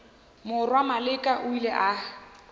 morwa maleka o ile a